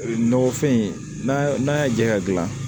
Nɔgɔfin n'a n'a y'a jɛ ka gilan